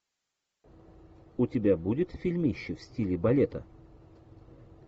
у тебя будет фильмище в стиле балета